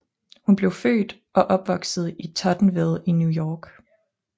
Hun blev født og opvoksede i Tottenville i New York